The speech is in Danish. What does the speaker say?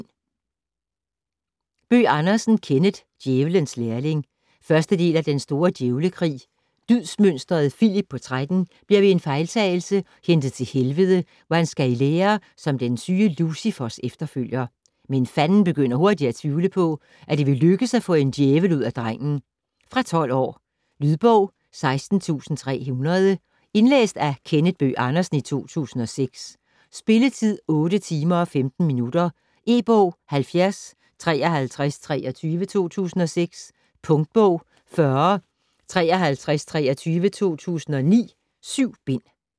Bøgh Andersen, Kenneth: Djævelens lærling 1. del af Den store djævlekrig. Dydsmønsteret Filip på 13 bliver ved en fejltagelse hentet til Helvede, hvor han skal i lære som den syge Lucifers efterfølger. Men Fanden begynder hurtigt at tvivle på, at det vil lykkes at få en djævel ud af drengen. Fra 12 år. Lydbog 16300 Indlæst af Kenneth Bøgh Andersen, 2006. Spilletid: 8 timer, 15 minutter. E-bog 705323 2006. Punktbog 405323 2009. 7 bind.